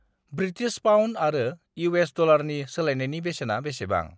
British pound आरो US. डलारनि सोलायनायनि बेसेना बेसेबां?